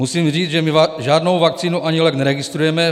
Musím říct, že my žádnou vakcínu ani lék neregistrujeme.